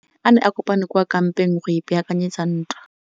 Masole a ne a kopane kwa kampeng go ipaakanyetsa ntwa.